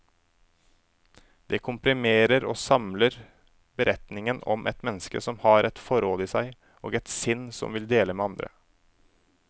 Det komprimerer og samler beretningen om et menneske som har et forråd i seg, og et sinn som vil dele med andre.